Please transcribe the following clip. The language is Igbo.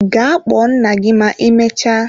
Gaa kpọọ nna gị ma ịmecha!